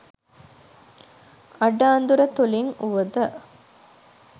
අඩ අඳුර තුලින් වුවද